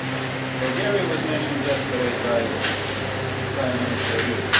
Bulgaria was mentioned yesterday by Prime Minister Rutte